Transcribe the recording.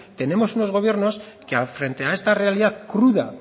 tenemos unos gobiernos que frente a esta realidad cruda